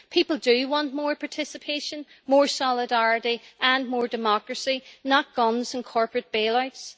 People do want more participation, more solidarity and more democracy, not guns and corporate bail outs.